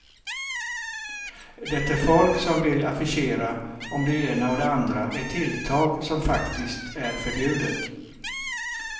Det är folk som vill affischera om det ena och det andra, ett tilltag som faktiskt är förbjudet.